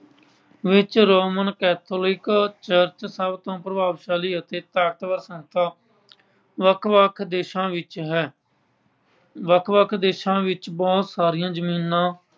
ਵਿੱਚ Roman Catholic Church ਸਭ ਤੋਂ ਪ੍ਰਭਾਵਸ਼ਾਲੀ ਅਤੇ ਤਾਕਤਵਰ ਸੰਸਥਾ ਵੱਖ-ਵੱਖ ਦੇਸ਼ਾਂ ਵਿੱਚ ਹੈ, ਵੱਖ-ਵੱਖ ਦੇਸ਼ਾਂ ਵਿੱਚ ਬਹੁਤ ਸਾਰੀਆਂ ਜਮੀਨਾਂ